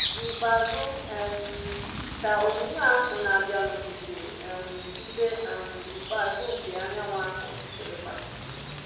N’ikpeazụ, um ka onyinyo ahụ na-abịanụ kpuchiri um ibé um ikpeazụ nke anyanwụ ahụ, ọchịchịrị gbara